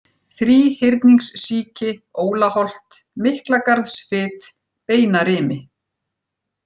Þríhyrningssíki, Ólaholt, Miklagarðsfit, Beinarimi